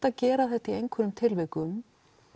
að gera þetta í einhverjum tilvikum